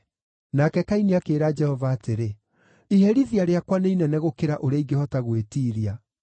Nake Kaini akĩĩra Jehova atĩrĩ, “Iherithia rĩakwa nĩ inene gũkĩra ũrĩa ingĩhota gwĩtiiria.